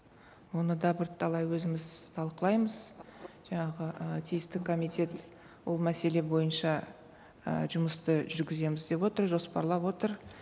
оны да бірталай өзіміз талқылаймыз жаңағы ыыы тиісті комитет ол мәселе бойынша і жұмысты жүргіземіз деп отыр жоспарлап отыр